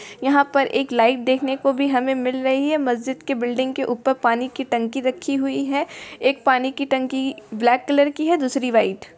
यहाँ पर एक लाइट देखने को भी हमें मिल रही है। मस्जिद के बिल्डिंग के ऊपर पानी की टंकी रखी हुई है एक पानी की टंकी ब्लैक कलर की है दूसरी वाइट --